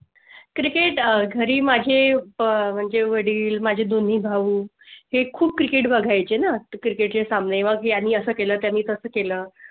Cricket घरी माझी अह म्हणजे वडील माझे दोन्ही भाऊ हे खूप cricket बघाय चे. नाते Cricket चे सामने बाकी आणि असं केलं मी तसं केलं